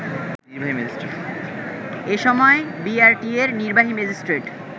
এ সময় বিআরটিএ’র নির্বাহী ম্যাজিস্ট্রেট